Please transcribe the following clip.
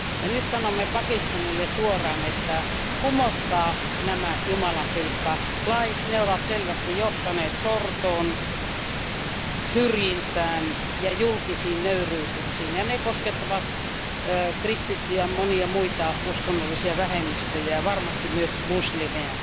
Ja nyt sanomme Pakistanille suoraan, että kumotkaa nämä jumalanpilkkalait, ne ovat selvästi johtaneet sortoon, syrjintään ja julkisiin nöyryytyksiin. Ja ne koskettavat kristittyjä, monia muita uskonnollisia vähemmistöjä, varmasti myös muslimeja.